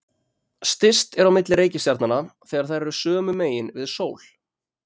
Styst er á milli reikistjarnanna þegar þær eru sömu megin við sól.